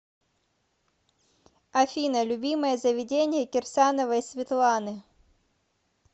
афина любимое заведение кирсановой светланы